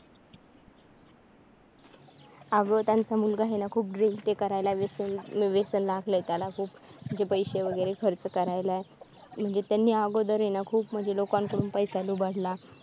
अग त्यांचा मुलगा आहे ना तो खूप drink हे करायला खूप व्यसन लागलय त्याला खूप म्हणजे पैसे वगैरे खर्च करायला म्हणजे जाण्याअगोदर आहे ना म्हणजे खूप लोकांकडून खूप लोकांकडून पैसा लुबाडला.